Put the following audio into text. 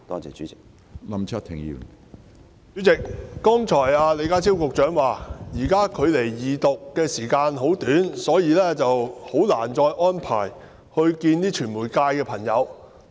主席，李家超局長剛才表示，現時距離法案二讀的時間很短，所以難以再安排會見傳媒界朋友。